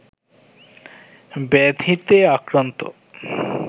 ব্যাধিতে আক্রান্ত